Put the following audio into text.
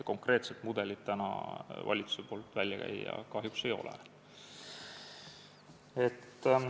Konkreetset mudelit täna valitsusel välja käia kahjuks ei ole.